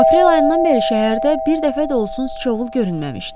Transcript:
Aprel ayından bəri şəhərdə bir dəfə də olsun sıçovul görünməmişdi.